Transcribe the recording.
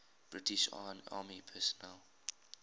british army personnel